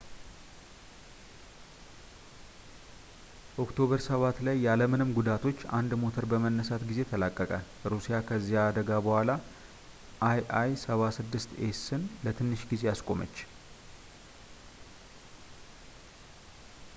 ኦክቶበር 7 ላይ ያለምንም ጉዳቶች፣ አንድ ሞተር በመነሳት ጊዜ ተላቀቀ። ሩሲያ ከዚያ አደጋ በኋላ il-76ኤስን ለትንሽ ጊዜ አስቆመች